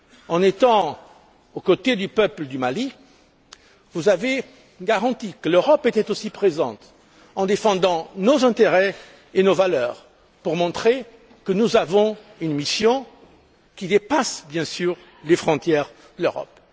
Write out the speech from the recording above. En étant aux côtés du peuple du Mali, vous avez apporté la garantie que l'Europe était aussi présente, en défendant nos intérêts et nos valeurs, pour montrer que nous avons une mission qui dépasse, bien sûr, les frontières de l'Europe.